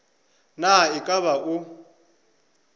na e ka ba o